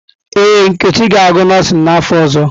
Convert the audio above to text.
Ee, Nkechi ga-agụ nọọsịn n’afọ ọzọ.